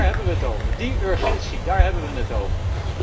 Dáár hebben we het over, die urgentie, daar hebben we het over.